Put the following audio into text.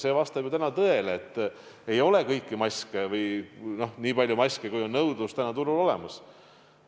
See vastab ju tõele, et ei ole kõiki maske, st neid ei ole nii palju, kui praegu turul on nõudlust.